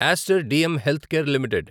Aster DM Healthcare limited